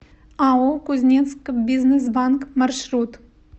ао кузнецкбизнесбанк маршрут